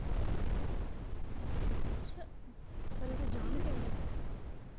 ਖਰੇ ਜਾਣ ਕੇ ਕਰਦਾ।